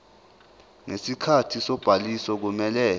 ngesikhathi sobhaliso kumele